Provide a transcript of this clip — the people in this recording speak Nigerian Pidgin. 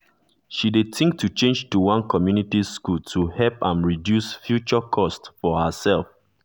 she dey think to change to one comunity school to help am reduce futere cost for herself